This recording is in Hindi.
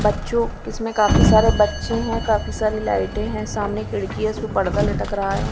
बच्चों इसमें काफी सारे बच्चे हैं काफी सारी लाइटें हैं सामने खिड़की है उसपे पर्दा लटक रहा है।